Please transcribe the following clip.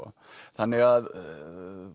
þannig að